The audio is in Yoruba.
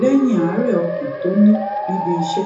léyìn àárè ọkàn tó ní níbi iṣé